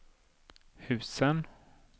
husen